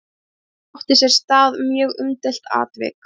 Þar átti sér stað mjög umdeilt atvik.